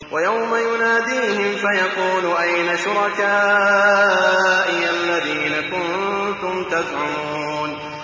وَيَوْمَ يُنَادِيهِمْ فَيَقُولُ أَيْنَ شُرَكَائِيَ الَّذِينَ كُنتُمْ تَزْعُمُونَ